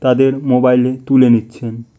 তাদের মোবাইলে তুলে নিচ্ছেন ।